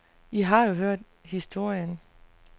I har jo hørt historien.